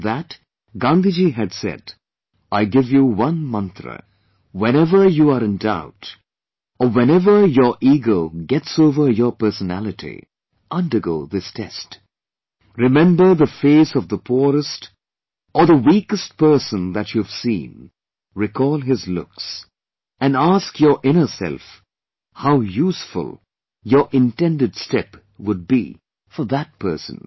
In that, Gandhiji had said, "I give you one mantra, whenever you are in doubt or whenever your ego gets over your personality, undergo this test; remember the face of the poorest or the weakest person that you have seen, recall his looks and ask your inner self how useful your intended step would be for that person